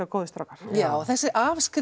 góðir strákar já og þessi